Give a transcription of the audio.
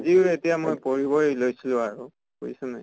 আজিও এতিয়া মই পঢ়িবই লৈছিলো আৰু বুজিছʼ নে নাই।